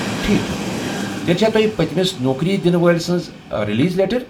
ٹھیک چُھ، تیٚلہ چھا تۄہہ پتِمِس نوكری دِنہٕ وٲلۍ سنٛز رِلیز لیٹر؟